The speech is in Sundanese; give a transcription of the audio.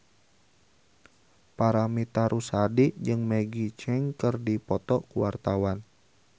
Paramitha Rusady jeung Maggie Cheung keur dipoto ku wartawan